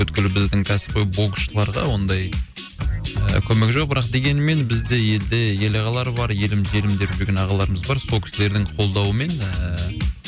бүкіл біздің кәсіпқой боксшыларда ондай ііі көмек жоқ бірақ дегенмен бізде елде ел ағалары бар елім жерім деп жүрген ағаларымыз бар сол кісілердің қолдауымен ііі